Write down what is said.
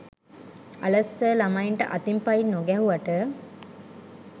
අලස් sir ළමයින්ට අතින් පයින් නොගැහුවට